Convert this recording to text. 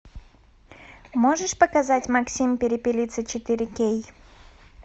можешь показать максим перепелица четыре кей